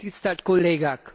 Tisztelt Kollégák!